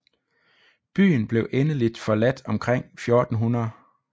Byen blev endeligt forladt omkring 1400